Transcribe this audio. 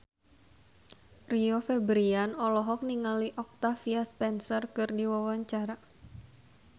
Rio Febrian olohok ningali Octavia Spencer keur diwawancara